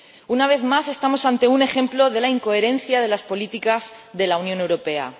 Una vez más estamos ante un ejemplo de la incoherencia de las políticas de la Unión Europea.